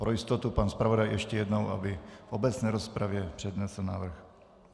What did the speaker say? Pro jistotu pan zpravodaj ještě jednou, aby v obecné rozpravě přednesl návrh.